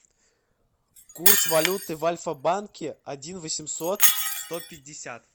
курс валюты в альфа банке один восемьсот сто пятьдесят